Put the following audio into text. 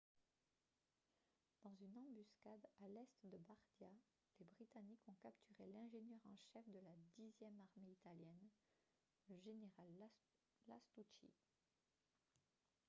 dans une embuscade à l'est de bardia les britanniques ont capturé l'ingénieur en chef de la dixième armée italienne le général lastucci